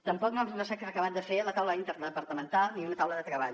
tampoc no s’ha acabat de fer la taula interdepartamental ni una taula de treball